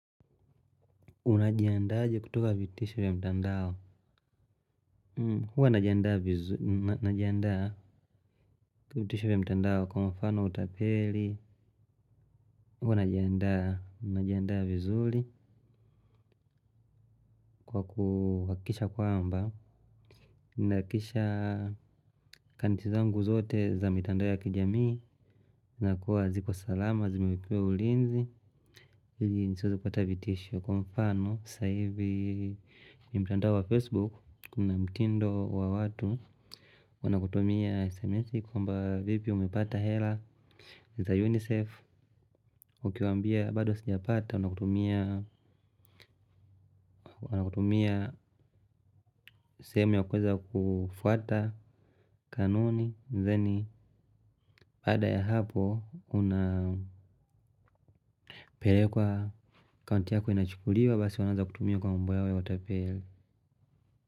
Unajianda aje kutoka vitisho ya mtandao. Huwa najianda kwa vitisho vya mtandao. Kwa mfano utapeli huwa najianda vizuli kwa kuhakikisha kwamba nahakisha kantizangu zote za mitandao ya kijamii. Nakuwa ziko salama, zimewekewa ulinzi. Ili nisiweze kupata vitisho kwa mfano, sahivi kwenye mtandao wa Facebook Kuna mtindo wa watu. Wana kutumia SMS. Kwamba vipi umepata hela. Za UNICEF Ukiwaambia bado sija pata. Wana kutumia sehemu ya kuweza kufuata kanuni theni baada ya hapo. Unapelekwa akaunti yako inachukuliwa. Basi wanaaza kutumia kwa mambo yao ya utapeli.